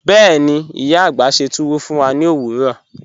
Bẹ́ẹ̀ni, iya agbá sẹ́ túwọ́ fún wà ní ọ̀wọ̀rọ̀.